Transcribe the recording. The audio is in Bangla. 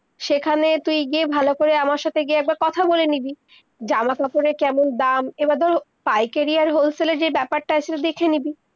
সেইখানে তুই গিয়ে ভালো করে আমার গিয়ে একবার কথা বলে নিবি, জামা-কাপড়ের কেমন দাম এইবার, ধর পাইকেরি আর wholesale এর যেই বেপার তা আছে দেখে নিবি-